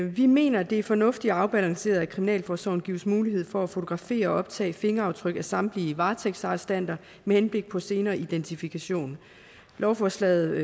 vi mener at det er fornuftigt og afbalanceret at kriminalforsorgen gives mulighed for at fotografere og optage fingeraftryk af samtlige varetægtsarrestanter med henblik på senere identifikation lovforslaget